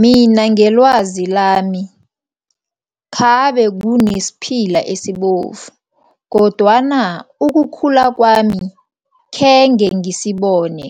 Mina ngelwazi lami, khabe kunesiphila esibovu kodwana ukukhula kwami khenge ngisibone